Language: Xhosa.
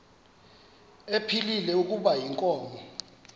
ephilile kuba inkomo